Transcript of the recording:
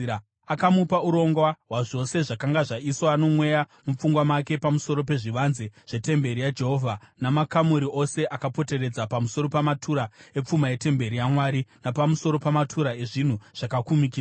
Akamupa urongwa hwazvose zvakanga zvaiswa noMweya mupfungwa make pamusoro pezvivanze zvetemberi yaJehovha namakamuri ose akapoteredza, pamusoro pamatura epfuma yetemberi yaMwari napamusoro pamatura ezvinhu zvakakumikidzwa.